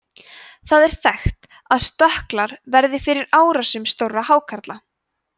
það er þekkt að stökklar verði fyrir árásum stórra hákarla